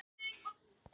Ragnar Hall: Já.